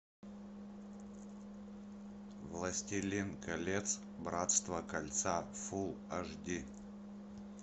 властелин колец братство кольца фул аш ди